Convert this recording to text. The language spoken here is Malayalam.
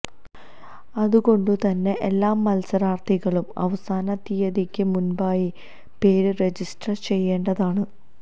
അതുകൊണ്ടുതന്നെ എല്ലാ മത്സരാര്ത്ഥികളൂം അവസാന തീയതിയ്ക്ക് മുന്പായി പേര് റെജിസ്റ്റര് ചെയ്യേണ്ടതാണ്